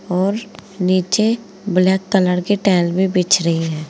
और नीचे black colour की टाइल भी बिछ रही है।